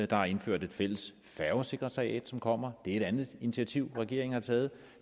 der er indført et fælles færgesekretariat som kommer det er et andet initiativ regeringen har taget